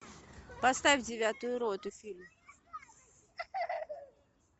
поставь девятую роту фильм